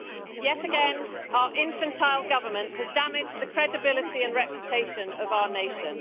Yet again, our infantile government has damaged the credibility and reputation of our nation.